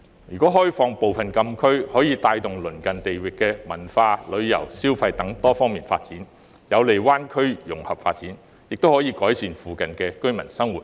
如果開放部分禁區，可以帶動鄰近地域的文化、旅遊、消費等多方面發展，有利灣區融合發展，亦可改善附近居民生活。